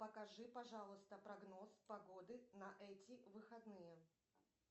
покажи пожалуйста прогноз погоды на эти выходные